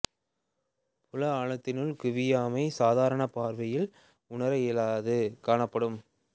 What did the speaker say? புல ஆழத்தினுள் குவியாமை சாதாரண பார்வையில் உணர இயலாது காணப்படும்